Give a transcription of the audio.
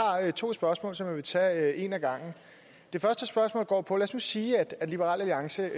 to spørgsmål som jeg vil tage et ad gangen det første spørgsmål går på følgende lad os nu sige at liberal alliance